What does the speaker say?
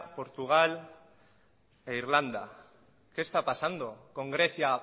portugal e irlanda qué está pasando con grecia